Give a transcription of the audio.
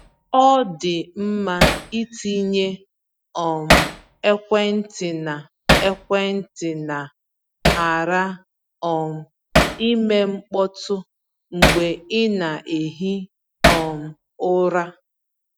Ọ dị mma ịtinye um ekwentị na ekwentị na ‘ghara um ime mkpọtụ’ mgbe ị na-ehi um ụra.